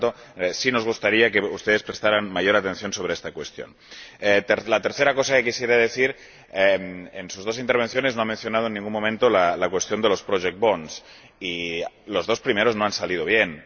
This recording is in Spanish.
Por lo tanto, sí nos gustaría que ustedes prestaran mayor atención a esta cuestión. En tercer lugar quisiera decir que, en sus dos intervenciones, no ha mencionado en ningún momento la cuestión de los projects bonds y los dos primeros no han salido bien.